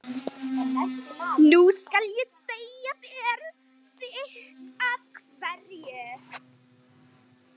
Nú skal ég segja þér sitt af hverju.